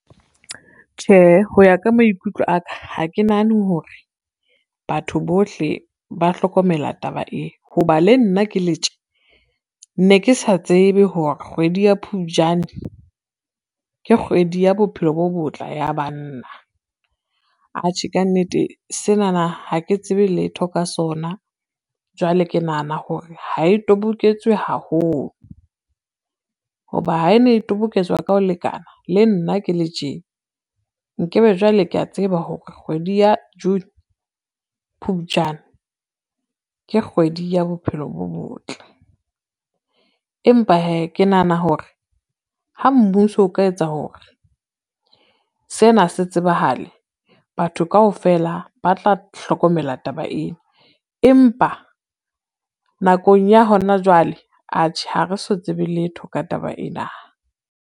Tjhehe, ho ya ka maikutlo aka ha ke nahane hore batho bohle ba hlokomela taba e, ho ba le nna ke le tje ne ke sa tsebe hore kgwedi ya Phupjane ke kgwedi ya bophelo bo botle ya banna. Atjhe ka nnete senana ha ke tsebe letho ka sona, jwale ke nahana hore ha e toboketse haholo, ho ba ha e ne e toboketswa ka ho lekana le nna ke le tje nke be jwale kea tseba hore kgwedi ya June, Phupujane ke kgwedi ya bophelo bo botle. Empa hee ke nahana hore ha mmuso o ka etsa hore sena se tsebahale, batho kaofela ba tla hlokomela taba ena, empa nakong ya hona jwale atjhe ha re so tsebe letho ka taba ena.